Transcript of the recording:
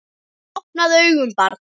Opnaðu augun barn!